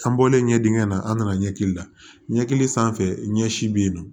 An bɔlen ɲɛ dingɛ na an nana ɲɛkili la ɲɛkili sanfɛ ɲɛsi bɛ yen nɔ